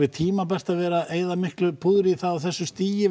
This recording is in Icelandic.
tímabært að vera að eyða miklu púðri í það á þessu stigi